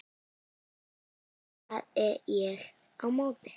hrópaði ég á móti.